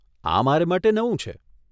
આ મારે માટે નવું છે.